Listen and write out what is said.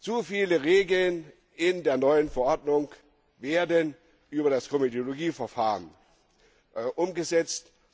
Zu viele Regeln in der neuen Verordnung werden über das Komitologieverfahren umgesetzt.